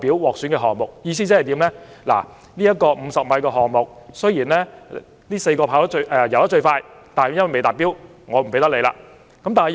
"意思是，該4名泳手在50米的游泳項目中的時間最快，但由於未達標，因此不獲選。